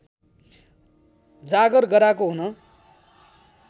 जागर गराएको हुन